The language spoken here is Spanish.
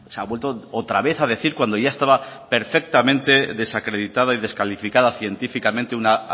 ha vuelto otra vez a decir cuando ya estaba perfectamente desacreditada y descalificada científicamente una